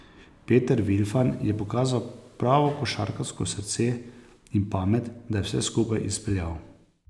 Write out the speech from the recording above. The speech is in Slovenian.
Peter Vilfan je pokazal pravo košarkarsko srce in pamet, da je vse skupaj izpeljal.